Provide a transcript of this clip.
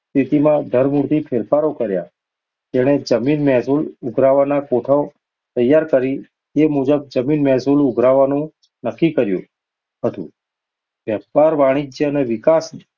સ્થિતિમાં ધરમૂળથી ફેરફારો કર્યા. તેણે જમીન-મહેસૂલ ઉઘરાવવાનો કોઠો તૈયાર કરીને મુજબ જમીન મહેસૂલ ઉઘરાવવાનું નક્કી ક્યું હતું. વેપાર-વાણિજ્યના વિકાસ